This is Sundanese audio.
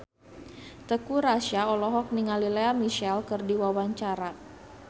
Teuku Rassya olohok ningali Lea Michele keur diwawancara